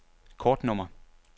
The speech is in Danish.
kortnummer